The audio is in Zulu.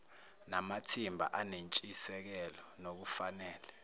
namathimba anentshisekelo nokufanele